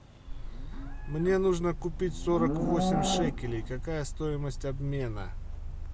мне нужно купить сорок восемь шекелей какая стоимость обмена